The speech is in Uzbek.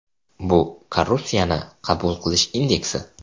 Bu korrupsiyani qabul qilish indeksi.